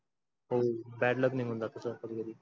हो bad luck